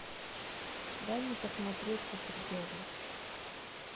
дай мне посмотреть супергерл